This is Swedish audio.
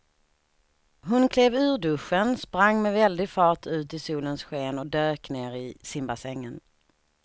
Hon klev ur duschen, sprang med väldig fart ut i solens sken och dök ner i simbassängen.